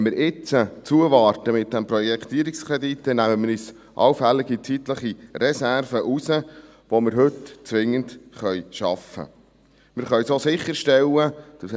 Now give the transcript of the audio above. Wenn wir jetzt zuwarten mit dem Projektierungskredit, dann nehmen wir uns allfällige zeitliche Reserven heraus, die wir heute zwingend schaffen können.